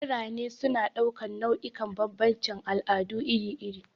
Birane suna ɗaukar nau'ikan bambancin al'adu iri-iri.